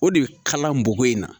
O de bɛ kala boko in na